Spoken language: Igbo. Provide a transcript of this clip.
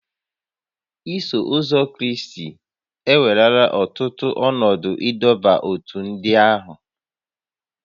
Iso Ụzọ Kraịst ewerela ọtụtụ ọnọdụ ịdọba n'ótú ndị ahụ